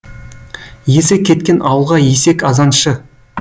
есі кеткен ауылға есек азаншы